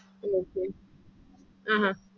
interest rate ah